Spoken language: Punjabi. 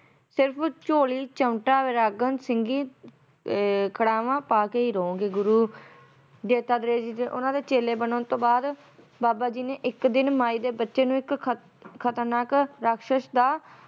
ਸਿਰਫ ਝੋਲੀ ਚਿਮਟਾ ਵੈਰਾਗਨ ਸਿੰਘੀ ਏ ਖੜਾਵਾਂ ਪਾਕੇ ਹੀ ਰਹੋਂਗੇ ਗੁਰੂ ਦੱਤਾਤਰੇ ਜੀ ਓਹਨਾਂ ਦੇ ਚੇਲੇ ਬਣਨ ਤੋਂ ਬਾਅਦ ਬਾਬਾ ਜੀ ਨੇ ਇੱਕ ਦਿਨ ਮਾਈ ਦੇ ਬੱਚੇ ਨੂੰ ਇੱਕ ਖਤ~ ਖਤਰਨਾਕ ਰਾਖਸ਼ਸ ਦਾ